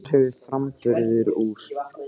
Þar hefur framburður úr